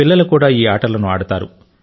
పిల్లలు కూడా ఈ ఆటలను ఆడతారు